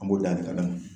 An b'o danni kada